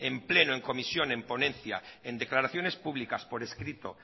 en pleno en comisión en ponencia en declaraciones públicas por escrito